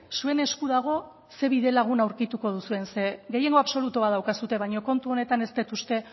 zuen esku dago ze bidelagun aurkituko duzuen zeren gehiengo absolutu bat daukazue baino kontu honetan ez dut uste